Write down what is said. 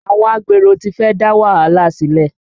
Àwọn agbero ti fẹ́ dá wàhálà sílẹ̀